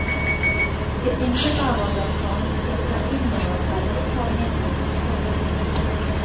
Det innebærer blant annet å ta inn over seg et par mindre morsomme ting.